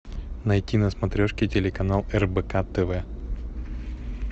найти на смотрешке телеканал рбк тв